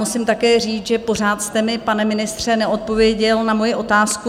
Musím také říct, že pořád jste mi, pane ministře, neodpověděl na moji otázku.